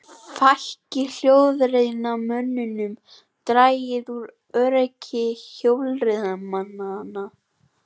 Fækki hjólreiðamönnum dragi úr öryggi hjólreiðamanna